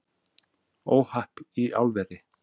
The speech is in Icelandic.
Óhapp í álveri